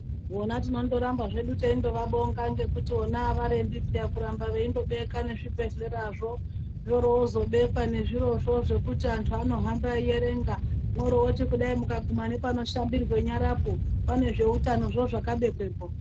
Vona tinondoramba zvedu teindovabonga ngekuti vona avarembi paya kuramba veindobeka nezvibhedhlerazvo zvoroozobekwa nezvirozvo zvekuti anyu anohamba eierenga mworoti kudai mukaguma nepanoshambirwe nyarapo pane zveutanozvo zvakabekwepo.